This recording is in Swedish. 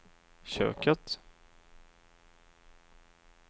köket